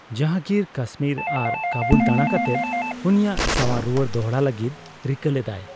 ᱡᱟᱦᱟᱝᱜᱤᱨ ᱠᱟᱥᱢᱤᱨ ᱟᱨ ᱠᱟᱵᱩᱞ ᱫᱟᱲᱟ ᱠᱟᱛᱮ ᱩᱱᱤᱭᱟᱜ ᱥᱟᱣᱟᱨ ᱨᱩᱣᱟᱹᱲ ᱫᱚᱲᱦᱟ ᱞᱟᱹᱜᱤᱫ ᱨᱤᱠᱟᱹ ᱞᱮᱫᱟᱭ ᱾